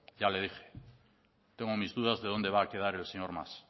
ya le dije tengo mis dudas de dónde va a quedar el señor mas